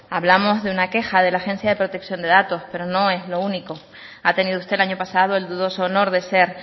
hablamos de una queja de la agencia vasca de protección de datos pero no es lo único ha tenido usted el año pasado el dudoso honor de ser